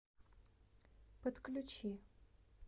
подключи